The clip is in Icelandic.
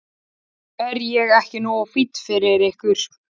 Er ég ekki nógu fínn fyrir ykkur?